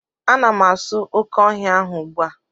Ana m asụ oke ọhịa ahụ ugbu a